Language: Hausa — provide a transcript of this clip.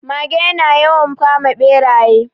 Mage ya na yawan kama Ɓeraye